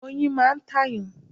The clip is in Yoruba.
Oyin máa ń tàyàn.